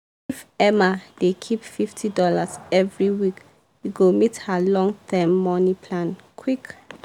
emma dey keep fifty dollars every week e go meet her long-term money plan quick.